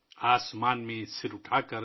آسمان میں سر اٹھاکر